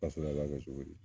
Fasara ib'a kɛ cogo di